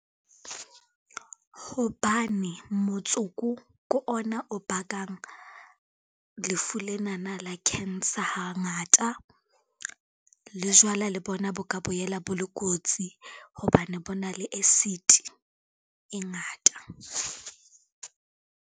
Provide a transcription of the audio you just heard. Hobane motsoko ko ona o bakang lefu lenana la cancer ha ngata, le jwala le bona bo ka boela bo le kotsi hobane bo na le acid e ngata.